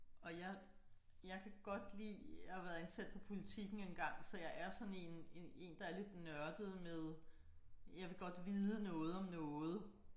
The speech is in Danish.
Og jeg jeg kan godt lide jeg har været ansat på Politiken engang så jeg er sådan én én én der er lidt nørdet med jeg vil godt vide noget om noget